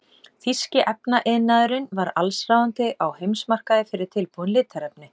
Þýski efnaiðnaðurinn var allsráðandi á heimsmarkaði fyrir tilbúin litarefni.